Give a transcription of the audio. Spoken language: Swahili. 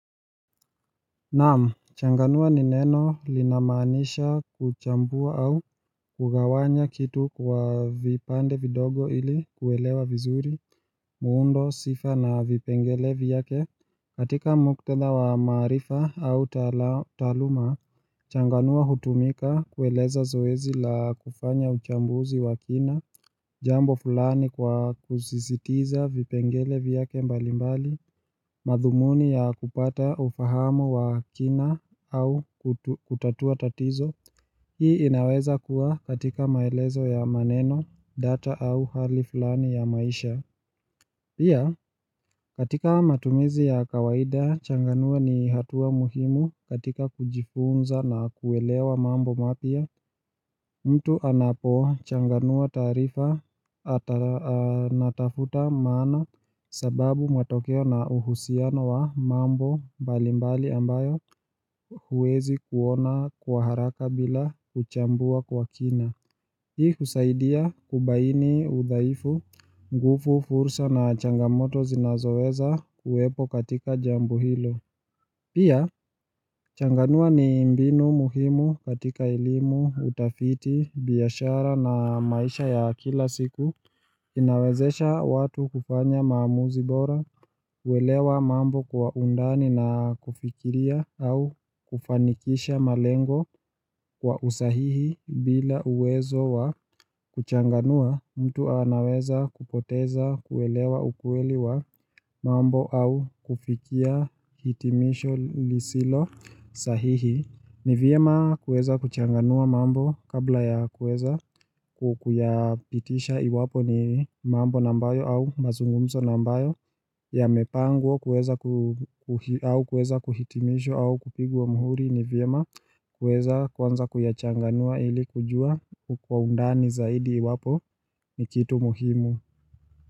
Naam, changanua ni neno linamaanisha kuchambua au kugawanya kitu kwa vipande vidogo ili kuelewa vizuri, muundo, sifa na vipengele vyake. Katika muktadha wa maarifa au taaluma, changanua hutumika kueleza zoezi la kufanya uchambuzi wa kina, jambo fulani kwa kusisitiza vipengele vyake mbali mbali. Madhumuni ya kupata ufahamu wa kina au kutatua tatizo Hii inaweza kuwa katika maelezo ya maneno, data au hali fulani ya maisha Pia katika matumizi ya kawaida changanua ni hatua muhimu katika kujifunza na kuelewa mambo mapya mtu anapo changanua taarifa anatafuta maana sababu matokeo na uhusiano wa mambo mbali mbali ambayo huwezi kuona kwa haraka bila kuchambua kwa kina Hii husaidia kubaini udhaifu, nguvu, fursa na changamoto zinazoweza kuwepo katika jambo hilo. Pia, changanua ni mbinu muhimu katika elimu, utafiti, biashara na maisha ya kila siku, inawezesha watu kufanya maamuzi bora, uelewa mambo kwa undani na kufikiria au kufanikisha malengo kwa usahihi bila uwezo wa kuchanganua, mtu anaweza kupoteza kuelewa ukweli wa mambo au kufikia hitimisho lisilo sahihi, ni vyema kuweza kuchanganua mambo kabla ya kueza kuyapitisha iwapo ni mambo ambayo au mazungumzo ambayo yamepangwa kuweza kuhitimishwa au kupigwa mhuri, ni vyema kuweza kwanza kuyachanganua ili kujua kwa undani zaidi iwapo ni kitu muhimu.